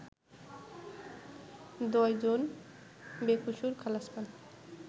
১০জন বেকসুর খালাস পান